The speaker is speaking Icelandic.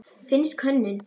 Finnsk hönnun.